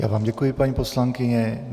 Já vám děkuji, paní poslankyně.